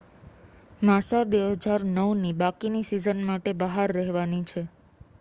માસા 2009 ની બાકીની સીઝન માટે બહાર રહેવાની છે